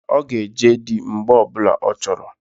Ọ ga-eji di mgbe ọbụla ọ chọrọ.